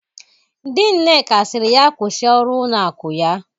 Di Nneka siri ya kwusi ọrụ ụlọ akụ ya.!